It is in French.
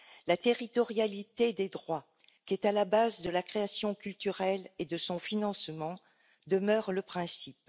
La territorialité des droits, qui est à la base de la création culturelle et de son financement, demeure le principe.